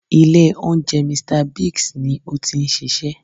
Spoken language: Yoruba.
Ilé oúnjẹ "Mr Biggs ni ó ti n ṣiṣẹ́